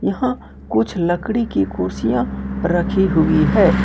यहां कुछ लकड़ी की कुर्सियां रखी हुई है।